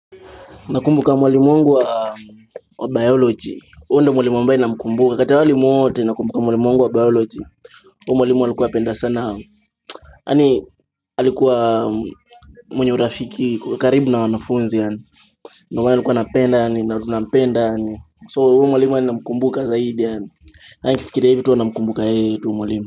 Nakumbuka mwalimu wangu wa biology. Kati hao walimu wote nakumbuka mwalimu wangu wa biology. Huu mwalimu alikuwa apenda sana. Yaani alikuwa mwenye urafiki. Karibu na wanafunzi yaani, Ndio maana nilikuwa napenda. Na tunapenda yaani, so huyu mwalimu hadi namkumbuka zaidi yaani, hadi nikifikira hivi tu huwa namkumbuka yeye tu mwalimu.